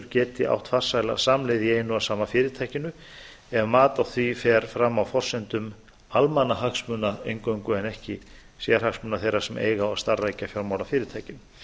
geti átt farsæla samleið í einu og sama fyrirtækinu ef mat á því fer fram á forsendum almannahagsmuna eingöngu en ekki sérhagsmuna þeirra sem eiga og starfrækja fjármálafyrirtækin